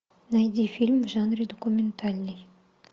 найди фильм в жанре документальный